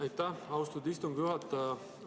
Aitäh, austatud istungi juhataja!